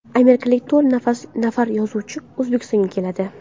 Amerikalik to‘rt nafar yozuvchi O‘zbekistonga keladi.